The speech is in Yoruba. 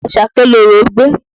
Àṣàkẹ́ lorò gbé